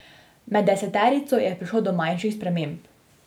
Med deseterico je prišlo do manjših sprememb.